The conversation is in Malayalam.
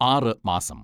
ആറ് മാസം